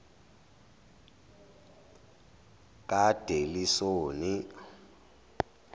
kadelisoni